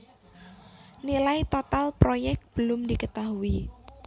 Nilai total proyek belum diketahui